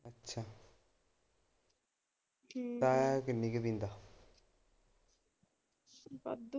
ਤਾਇਆ ਕਿੰਨੀ ਕਿ ਪੀਂਦਾ ਵਾਧੂ।